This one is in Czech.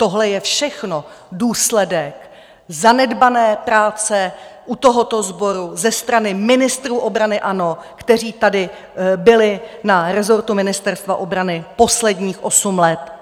Tohle je všechno důsledek zanedbané práce u tohoto sboru ze strany ministrů obrany ANO, kteří tady byli na rezortu Ministerstva obrany posledních osm let.